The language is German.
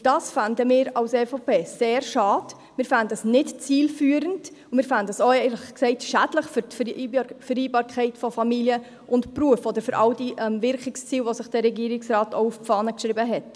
Und dies fänden wir als EVP sehr schade, wir fänden es nicht zielführend und, ehrlich gesagt, auch schädlich für die Vereinbarkeit von Familie und Beruf oder für all die Wirkungsziele, die sich der Regierungsrat auf die Fahne geschrieben hat.